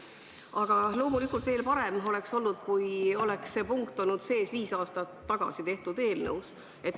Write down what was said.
Aga loomulikult veel parem oleks olnud, kui oleks see punkt olnud sees viis aastat tagasi koostatud eelnõus.